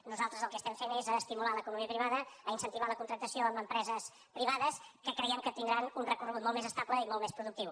nosaltres el que estem fent és estimular l’economia privada incentivar la contractació amb empreses privades que creiem que tindran un recorregut molt més estable i molt més productiu